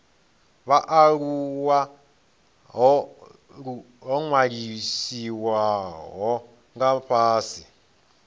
vhaaluwa ho ṅwalisiwaho nga fhasi